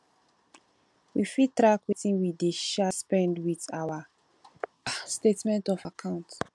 we fit track wetin we dey um spend with our um statement of account